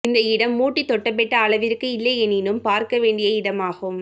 இந்த இடம் ஊட்டி தொட்டபெட்டா அளவிற்கு இல்லையெனினும் பார்க்க வேண்டிய இடமாகும்